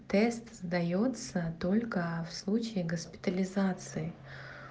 тест сдаётся только в случае госпитализации